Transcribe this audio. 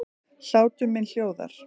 Hlátur minn hljóðar.